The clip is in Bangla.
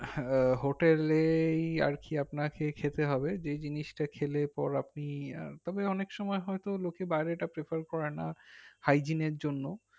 হ্যাঁ hotel এই আরকি আপনাকে খেতে হবে যে জিনিসটা খেলে পর আপন তবে অনেক সময় হয় তো লোকে বাইরে তা prefer করে না hygiene এর জন্য